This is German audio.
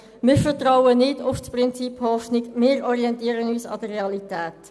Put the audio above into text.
Wir vertrauen nicht auf das Prinzip Hoffnung und orientieren uns an der Realität.